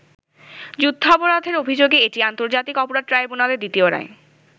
যুদ্ধাপরাধের অভিযোগে এটি আন্তর্জাতিক অপরাধ ট্রাইব্যুনালের দ্বিতীয় রায়।